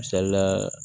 Misalila